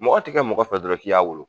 Mɔgɔ tɛ kɛ mɔgɔ fɛ dɔrɔn k'i y'a wolo.